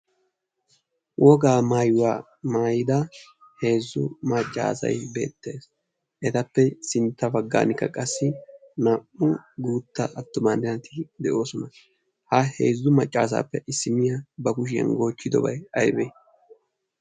Wogaa maayuwa maayida heezu macca asati beetees, etappe sinta bagan qassi atuma naati de'oososna. ha heezzu macaasappe issiniya ba kushiyan goochobay aybee?